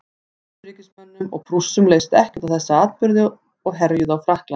austurríkismönnum og prússum leist ekkert á þessa atburði og herjuðu á frakkland